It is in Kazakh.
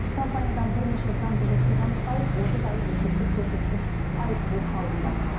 компаниядан бірнеше заңбұзушылық анықталып отыз айлық есептік көрсеткіш айыппұл салынды